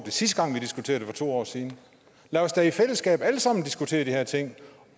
sidste gang vi diskuterede det for to år siden lad os da i fællesskab alle sammen diskutere de her ting